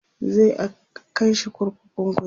za'a kaishi kurkukun kuje